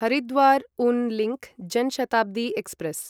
Haridwar Una link Jan Shatabdi express